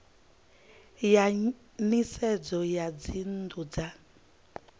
ya nisedzo ya dzinnu dza